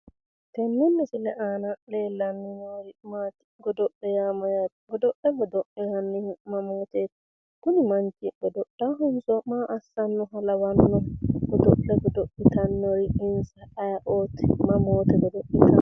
Tini misile leellanni noori maati? godo'le yaa mayyaate? godo'le godo'linannihu mamooteeti? kuni manchi god'laahonso maa assannoha lawanno'ne? godo'le godo'litannori insa ayeeooti? mamoote godo'litanno?